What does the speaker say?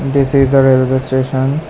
This is a railway station.